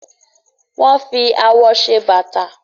wón fí awọ ṣe Bàtà